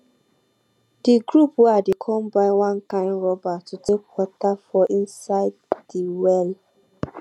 de group wen i dey come buy one kind rubber to take water for inside de well